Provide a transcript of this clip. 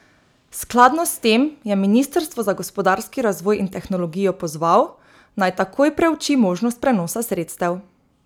Skladno s tem je ministrstvo za gospodarski razvoj in tehnologijo pozval, naj takoj preuči možnost prenosa sredstev.